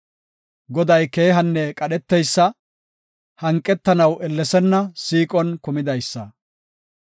Goday keehanne qadheteysa; hanqetanaw ellesenna; siiqon kumidaysa.